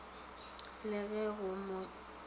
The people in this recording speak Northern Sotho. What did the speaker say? le ba go mo tlišetša